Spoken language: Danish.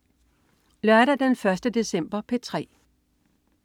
Lørdag den 1. december - P3: